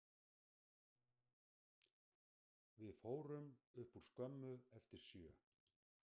Við fórum upp úr skömmu eftir sjö.